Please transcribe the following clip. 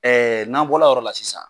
Ɛɛ n'an bɔra o yɔrɔ la sisan